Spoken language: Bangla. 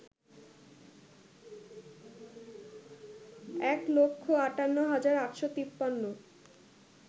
এক লক্ষ আটান্ন হাজার আটশ তিপান্ন